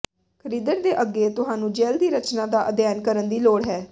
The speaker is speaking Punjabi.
ਖਰੀਦਣ ਦੇ ਅੱਗੇ ਤੁਹਾਨੂੰ ਜੈੱਲ ਦੀ ਰਚਨਾ ਦਾ ਅਧਿਐਨ ਕਰਨ ਦੀ ਲੋੜ ਹੈ